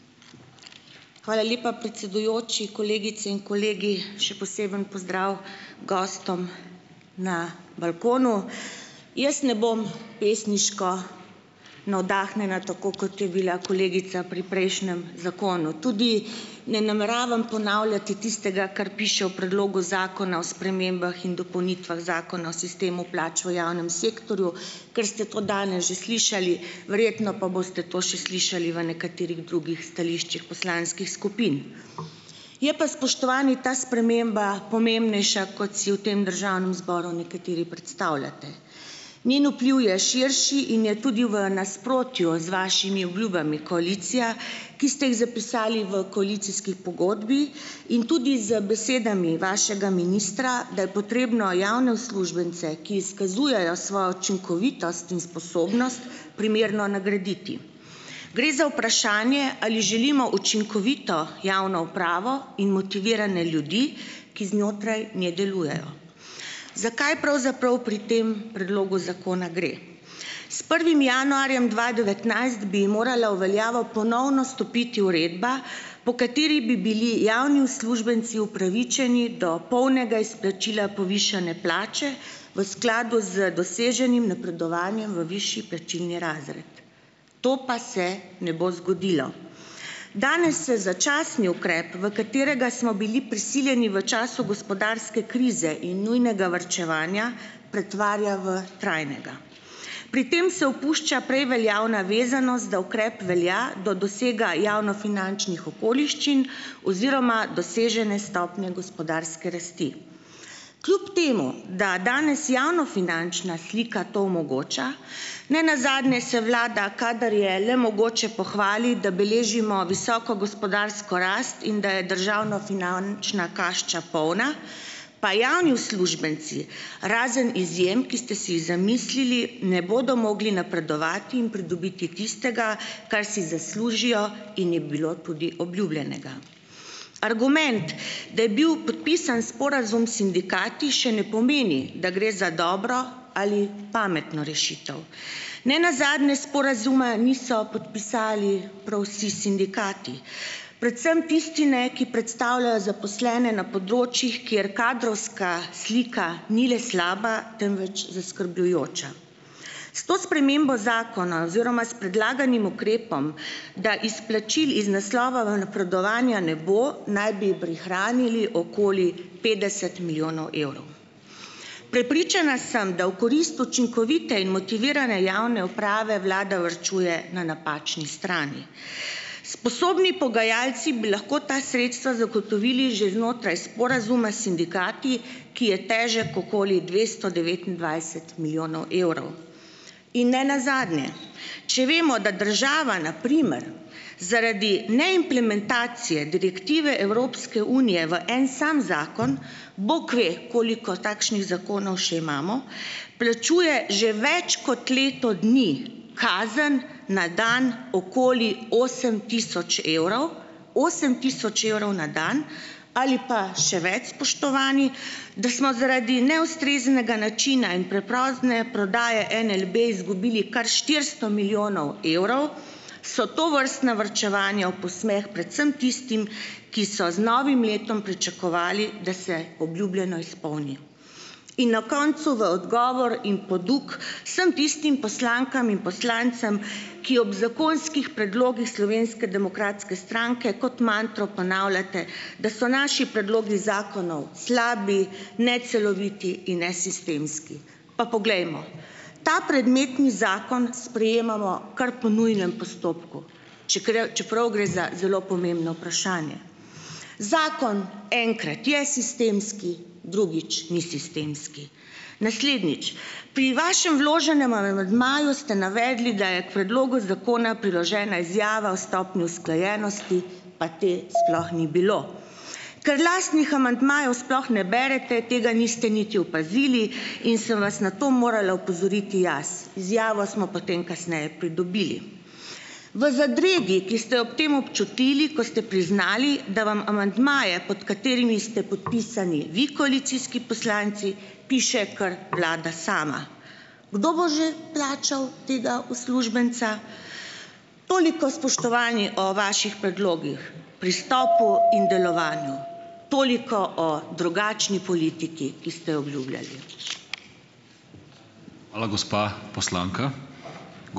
Hvala lepa predsedujoči, kolegice in kolegi! Še poseben pozdrav gostom na balkonu! Jaz ne bom pesniško navdahnjena, tako kot je bila kolegica pri prejšnjem zakonu. Tudi ne nameravam ponavljati tistega, kar piše v predlogu zakona o spremembah in dopolnitvah Zakona o sistemu plač v javnem sektorju, ker ste to danes že slišali, verjetno pa boste to še slišali v nekaterih drugih stališčih poslanskih skupin. Je pa, spoštovani, ta sprememba pomembnejša kot si v tem državnem zboru nekateri predstavljate. Njen vpliv je širši in je tudi v nasprotju z vašimi obljubami, koalicija, ki ste jih zapisali v koalicijski pogodbi, in tudi z besedami vašega ministra, da je potrebno javne uslužbence, ki izkazujejo svojo učinkovitost in sposobnost, primerno nagraditi. Gre za vprašanje, ali želimo učinkovito javno upravo in motivirane ljudi, ki znotraj nje delujejo. Zakaj pravzaprav pri tem predlogu zakona gre? S prvim januarjem dva devetnajst bi morala v veljavo ponovno stopiti uredba, po kateri bi bili javni uslužbenci upravičeni do polnega izplačila povišane plače, v skladu z doseženim napredovanjem v višji plačilni razred. To pa se ne bo zgodilo. Danes se začasni ukrep, v katerega smo bili prisiljeni v času gospodarske krize in nujnega varčevanja, pretvarja v trajnega. Pri tem se opušča prej veljavna vezanost, da ukrep velja do dosega javnofinančnih okoliščin oziroma dosežene stopnje gospodarske rasti. Kljub temu da danes javnofinančna slika to omogoča, ne nazadnje se vlada, kadar je le mogoče, pohvali, da beležimo visoko gospodarsko rast in da je državnofinančna kašča polna, pa javni uslužbenci, razen izjem, ki ste si jih zamislili, ne bodo mogli napredovati in pridobiti tistega, kar si zaslužijo in je bilo tudi obljubljenega. Argument, da je bil podpisan sporazum s sindikati, še ne pomeni, da gre za dobro ali pametno rešitev. Ne nazadnje sporazuma niso podpisali prav vsi sindikati, predvsem tisti ne, ki predstavljajo zaposlene na področjih, kjer kadrovska slika ni le slaba, temveč zaskrbljujoča. S to spremembo zakona oziroma s predlaganim ukrepom, da izplačil iz naslova v napredovanja ne bo, naj bi prihranili okoli petdeset milijonov evrov. Prepričana sem, da v korist učinkovite in motivirane javne uprave, vlada varčuje na napačni strani. Sposobni pogajalci bi lahko ta sredstva zagotovili že znotraj sporazuma s sindikati, ki je težek okoli dvesto devetindvajset milijonov evrov. In ne nazadnje, če vemo, da država na primer zaradi neimplementacije direktive Evropske unije v en sam zakon - bog ve, koliko takšnih zakonov še imamo - plačuje že več kot leto dni kazen na dan okoli osem tisoč evrov, osem tisoč evrov na dan, ali pa še več, spoštovani, da smo zaradi neustreznega načina in prepozne prodaje NLB izgubili kar štiristo milijonov evrov, so tovrstna varčevanja v posmeh predvsem tistim, ki so z novim letom pričakovali, da se obljubljeno izpolni. In na koncu v odgovor in poduk vsem tistim poslankam in poslancem, ki ob zakonskih predlogih Slovenske demokratske stranke kot mantro ponavljate, da so naši predlogi zakonov slabi, neceloviti in nesistemski. Pa poglejmo, ta predmetni zakon sprejemamo kar po nujnem postopku, čeprav gre za zelo pomembno vprašanje. Zakon enkrat je sistemski, drugič ni sistemski. Naslednjič, pri vašem vloženem amandmaju ste navedli, da je k predlogu zakona priložena izjava o stopnji usklajenosti, pa te sploh ni bilo. Ker lastnih amandmajev sploh ne berete, tega niste niti opazili in sem vas na to morala opozoriti jaz. Izjavo smo potem kasneje pridobili. V zadregi, ki ste jo ob tem občutili, ko ste priznali, da vam amandmaje, pod katerimi ste podpisani vi, koalicijski poslanci, piše kar vlada sama. Kdo bo že plačal tega uslužbenca? Toliko, spoštovani, o vaših predlogih pristopu in delovanju. Toliko o drugačni politiki, ki ste jo obljubljali.